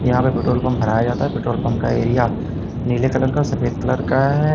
यहां पे petrol pump भराया जाता है पेट्रोल पंप का एरिया नीले कलर का और सफेद कलर का है।